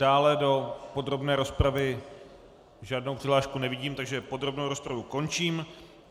Dále do podrobné rozpravy žádnou přihlášku nevidím, takže podrobnou rozpravu končím.